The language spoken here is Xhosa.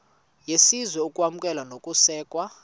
yesizwe ukwamkelwa nokusekwa